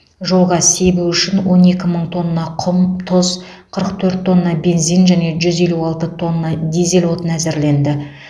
жолға себу үшін он екі мың тонна құм тұз қырық төрт тонна бензин және жүз елу алты тонна дизель отыны әзірленді